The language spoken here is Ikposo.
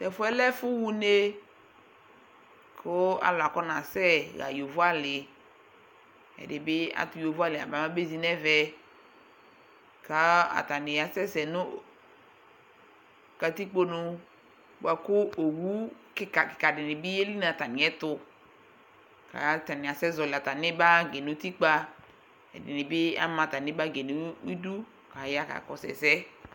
Tʋ ɛfʋ yɛ lɛ ɛfʋɣa une kʋ alʋ akɔnasɛ ɣa yovoalɩ, ɛdɩ bɩ atʋ yovoalɩ yaba mɛ abezi nʋ ɛmɛ kʋ atanɩ asɛsɛ nʋ katikponu bʋa kʋ owu kɩka kɩkanɩ bɩ yeli nʋ atamɩɛtʋ kʋ atanɩ asɛzɔɣɔlɩ atamɩ bagɩ nʋ utikpa Ɛdɩnɩ bɩ ama atamɩ bagɩ yɛ nʋ idu kʋ aya kakɔsʋ ɛsɛ